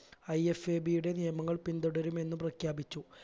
IFAB യുടെ നിയമങ്ങൾ പിന്തുടരുമെന്ന് പ്രഖ്യാപിച്ചു